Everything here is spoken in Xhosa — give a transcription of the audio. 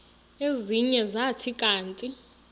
ezinye zathi kanti